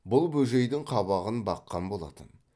бұл бөжейдің қабағын баққан болатын